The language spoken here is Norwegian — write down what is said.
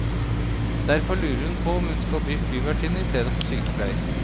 Derfor lurer hun på om hun skal bli flyvertinne istedenfor sykepleier.